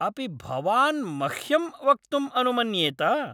अपि भवान् मह्यं वक्तुं अनुमन्येत?